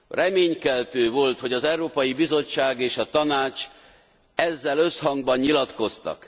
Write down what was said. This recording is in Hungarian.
Reménykeltő volt, hogy az Európai Bizottság és a Tanács ezzel összhangban nyilatkoztak.